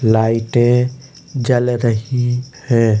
लाइटे जल रही हैं।